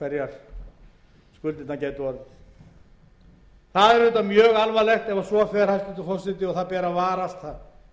ef svo fer hæstvirtur forseti og það ber að varast það ber að